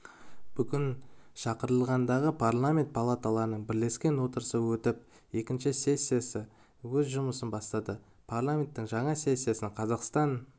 бүгін шақырылымдағы парламент палаталарының бірлескен отырысы өтіп екінші сессия өз жұмысын бастады парламенттің жаңа сессиясын қазақстан